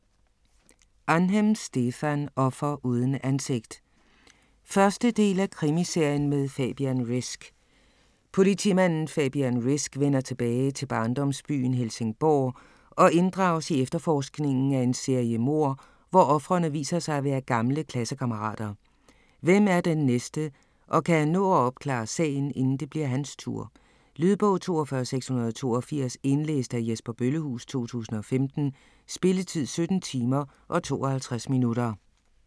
Ahnhem, Stefan: Offer uden ansigt 1. del af Krimiserien med Fabian Risk. Politimanden Fabian Risk vender tilbage til barndomsbyen, Helsingborg, og inddrages i efterforskningen af en serie mord, hvor ofrene viser sig at være gamle klassekammerater. Hvem er den næste, og kan han nå at opklare sagen, inden det bliver hans tur? Lydbog 42682 Indlæst af Jesper Bøllehuus, 2015. Spilletid: 17 timer, 52 minutter.